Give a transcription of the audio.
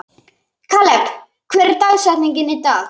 Kaleb, hver er dagsetningin í dag?